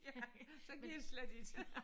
Ja så går det slet ikke